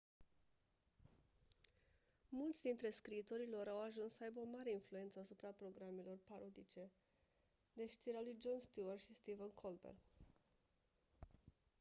mulți dintre scriitorii lor au ajuns să aibă o mare influență asupra programelor parodice de știri ale lui jon stewart și stephen colbert